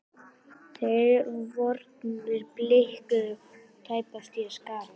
Þær vonir bliknuðu og var tæpast við hann að sakast.